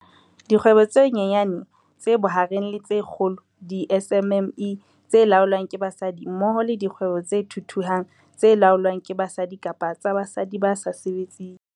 Dikgwebo tse Nyanyane, tse Bohareng le tse Kgolo, di-SMME, tse laolwang ke basadi mmoho le dikgwebo tse thuthuhang tse laolwang ke basadi kapa tsa basadi ba sa sebetseng.